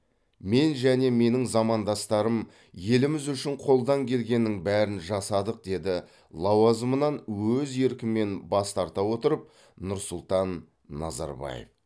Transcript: мен және менің замандастарым еліміз үшін қолдан келгеннің бәрін жасадық деді лауазымынан өз еркімен бас тарта отырып нұрсұлтан назарбаев